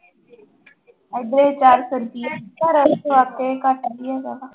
ਏਦਾਂ ਹੀ ਚਾਰ ਸੌ ਰੁਪਇਆ ਘੱਟ ਨੀ ਹੈਗਾ ਗਾ।